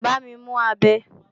Bámi mú abẹ!